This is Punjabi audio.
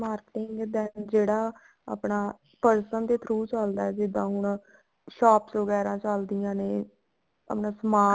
ਦਾ ਜਿਹੜਾ ਆਪਣਾ person ਦੇ through ਚੱਲਦਾ ਜਿੱਦਾਂ ਹੁਣ shops ਵਗੇਰਾ ਚੱਲਦੀਆਂ ਨੇ ਆਪਣਾ